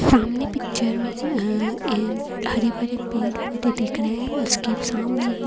सामने पिक्चर मे ह हरे भरे पेड़ पौधे दिख रहे है उसके सामने ही--